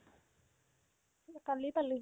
কালি পালেহি